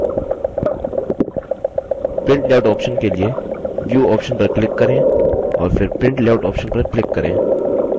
print layout option के लिए view option पर click करें और फिर print layout option पर click करें